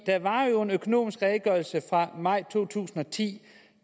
der var jo en økonomisk redegørelse fra maj to tusind og ti